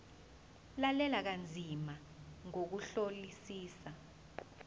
lalela kanzima ngokuhlolisisa